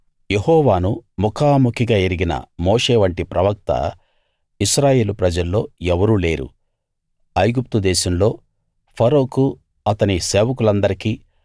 యెహోవాను ముఖాముఖిగా ఎరిగిన మోషేవంటి ప్రవక్త ఇశ్రాయేలు ప్రజల్లో ఎవరూ లేరు ఐగుప్తు దేశంలో ఫరోకూ అతని సేవకులందరికీ